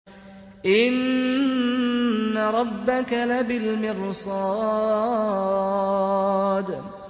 إِنَّ رَبَّكَ لَبِالْمِرْصَادِ